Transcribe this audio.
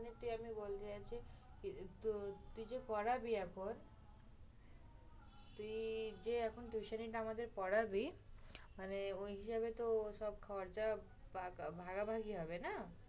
তুই এমনি বল যে, তুই যে পড়াবি এখন। তুই যে এখন tuition নিটা আমাদের পড়াবি মানে ঐসব হিসেবে তো সব খরচা পাকা ভাগাভাগি হবে না?